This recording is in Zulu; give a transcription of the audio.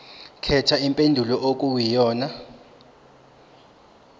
khetha impendulo okuyiyona